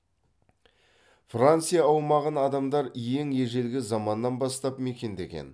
франция аумағын адамдар ең ежелгі заманнан бастап мекендеген